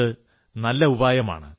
ഇതു നല്ല ഉപായമാണ്